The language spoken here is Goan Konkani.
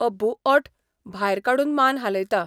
अब्बूओंठ भायर काडून मान हालयता.